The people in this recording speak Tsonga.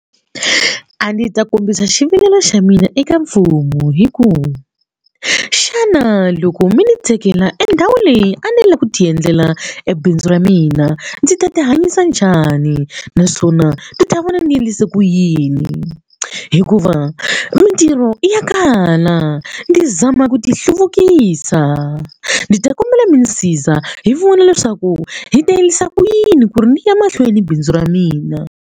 A ndzi ta kombisa xivilelo xa mina eka mfumo hi ku xana loko mi ni tekela endhawu leyi a ni lava ku ti endlela ebindzu ra mina ndzi ta ti hanyisa njhani naswona ndzi ta vona ndzi endlise ku yini hikuva mintirho ya kala ndzi ama ku ti hluvukisa ndzi ta kombela mi ndzi siza hi vona leswaku hi ta endlisa kuyini ku ri ni ya mahlweni na bindzu ra mina.